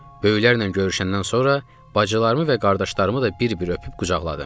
Böyüklərlə görüşəndən sonra bacılarımı və qardaşlarımı da bir-bir öpüb qucaqladım.